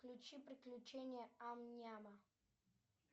включи приключения ам няма